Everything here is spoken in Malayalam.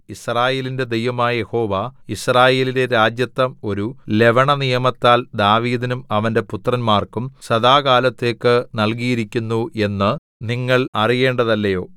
യിസ്രായേലിന്റെ ദൈവമായ യഹോവ യിസ്രായേലിലെ രാജത്വം ഒരു ലവണനിയമത്താൽ ദാവീദിനും അവന്റെ പുത്രന്മാർക്കും സദാകാലത്തേക്കു നല്കിയിരിക്കുന്നു എന്നു നിങ്ങൾ അറിയേണ്ടതല്ലയോ